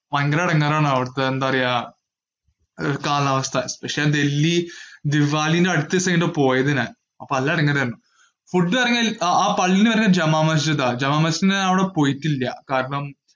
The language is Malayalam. ഭയങ്കര ഇടങ്ങേറ് ആണ് അവിടുത്തെ എന്താ പറയുവാ അവിടുത്തെ കാലാവസ്ഥ. പക്ഷെ ഡൽഹി ദിവാലിന്റെ അടുത്ത ദിവസം ആണ് പോയത് ഞാൻ അപോം നല്ല ഇടങ്ങേറ് ആയിരുന്നു. ആ പള്ളി വരെ ജുമാ മസ്ജിദ് ആണ്. ജുമാ മസ്ജിദിന്റെ അവിടെ ഞാൻ പോയിട്ടില്ല.